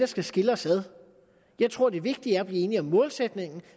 skal skille os ad jeg tror at det vigtige er at blive enige om målsætningen og